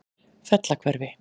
Fellahvarfi